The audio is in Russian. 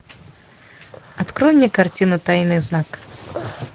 открой мне картину тайный знак